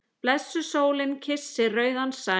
Blessuð sólin kyssir rauðan sæ.